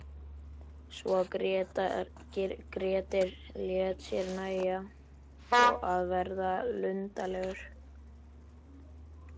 Svo að Grettir lét sér nægja að verða luntalegur.